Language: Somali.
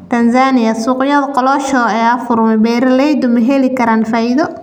Tanzania: Suuqyada kolosho ayaa furmay, beeraleyda ma heli karaan faa'iido?